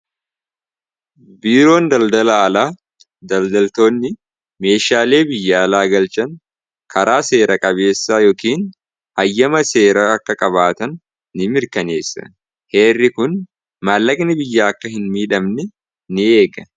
biiroon daldala alaa daldaltootni meeshaalee biyya alaa galchan karaa seera qabeessa yookiin hayyama seera akka qabaatan ni mirkaneessa heerri kun maallaqni biyya akka hin miidhamne n eega